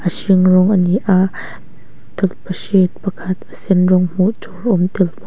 a hring rawng ani a tawlhpahrit pakhat a sen rawng hmuh tur awm tel baw--